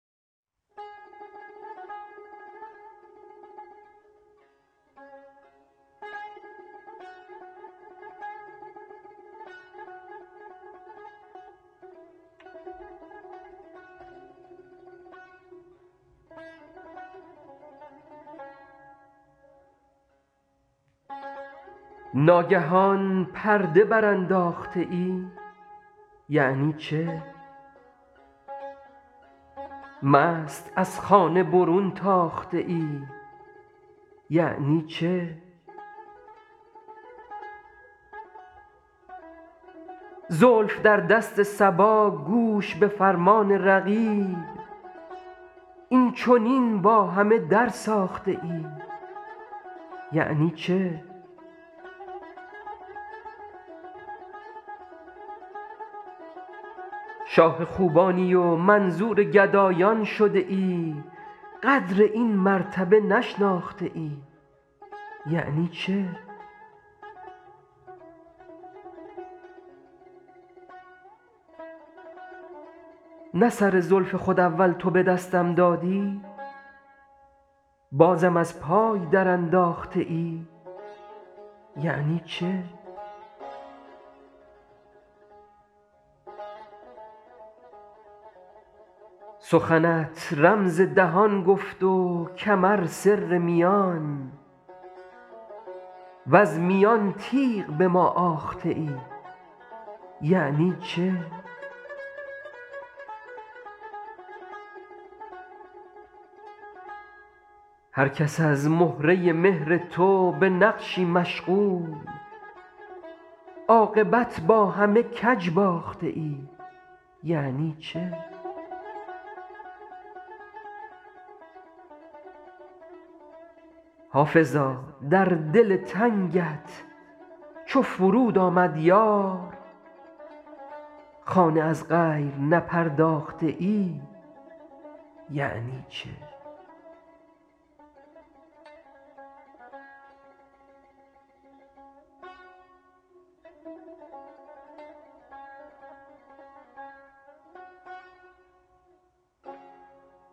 ناگهان پرده برانداخته ای یعنی چه مست از خانه برون تاخته ای یعنی چه زلف در دست صبا گوش به فرمان رقیب این چنین با همه درساخته ای یعنی چه شاه خوبانی و منظور گدایان شده ای قدر این مرتبه نشناخته ای یعنی چه نه سر زلف خود اول تو به دستم دادی بازم از پای درانداخته ای یعنی چه سخنت رمز دهان گفت و کمر سر میان وز میان تیغ به ما آخته ای یعنی چه هر کس از مهره مهر تو به نقشی مشغول عاقبت با همه کج باخته ای یعنی چه حافظا در دل تنگت چو فرود آمد یار خانه از غیر نپرداخته ای یعنی چه